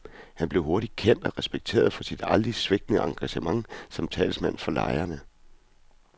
Han blev hurtigt kendt og respekteret for sit aldrig svigtende engagement som talsmand for lejerne.